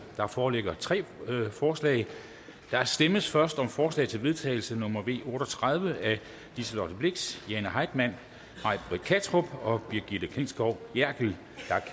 der foreligger tre forslag der stemmes først om forslag til vedtagelse nummer v otte og tredive af liselott blixt jane heitmann may britt kattrup og brigitte klintskov jerkel